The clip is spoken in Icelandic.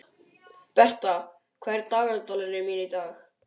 Bertha, hvað er í dagatalinu mínu í dag?